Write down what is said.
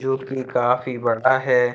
काफी बड़ा है।